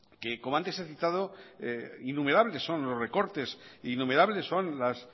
que como antes he citado innumerables son los recortes innumerables son las